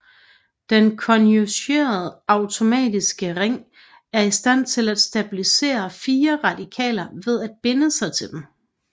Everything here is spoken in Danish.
Den konjugerede aromatiske ring er i stand til at stabilisere frie radikaler ved at binde sig til dem